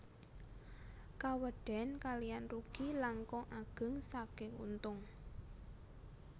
Kawedén kaliyan rugi langkung ageng saking untung